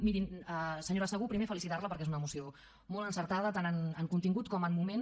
mirin senyora segú primer felicitar la perquè és una moció molt encertada tant en contingut com en moment